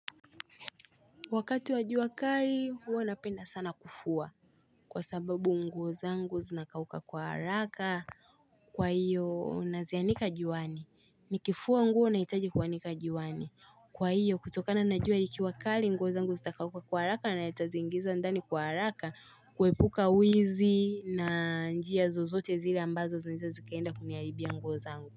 Wakati wa jua kali huwa napenda sana kufua kwa sababu nguo zangu zinakauka kwa haraka Kwa hiyo unazianika juani nikifua nguo nahitaji kuanika juani kwa hiyo kutokana na jua ikiwa kali nguo zangu zitakauka kwa haraka na nitazi ingiza ndani kwa haraka kuepuka wizi na njia zozote zile ambazo zini zikaenda kuniaribia nguo zangu.